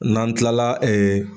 N'an tilala